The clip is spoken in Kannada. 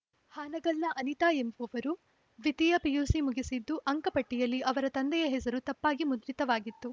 ಹಾನಗಲ್‌ನ ಅನಿತಾ ಎಂಬುವವರು ದ್ವಿತೀಯ ಪಿಯುಸಿ ಮುಗಿಸಿದ್ದು ಅಂಕಪಟ್ಟಿಯಲ್ಲಿ ಅವರ ತಂದೆಯ ಹೆಸರು ತಪ್ಪಾಗಿ ಮುದ್ರಿತವಾಗಿತ್ತು